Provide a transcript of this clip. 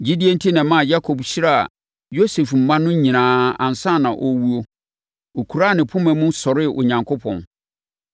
Gyidie enti na ɛmaa Yakob hyiraa Yosef mma no nyinaa ansa na ɔrewuo. Ɔkuraa ne poma mu sɔree Onyankopɔn.